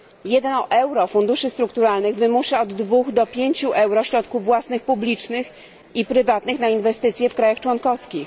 1 euro funduszy strukturalnych wymusza od 2 do 5 euro środków własnych, publicznych i prywatnych na inwestycje w krajach członkowskich.